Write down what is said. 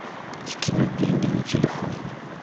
скинуть деньги на телефон